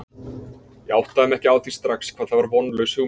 Ég áttaði mig ekki á því strax hvað það var vonlaus hugmynd.